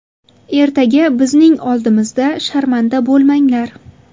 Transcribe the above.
Ertaga bizning oldimizda sharmanda bo‘lmanglar.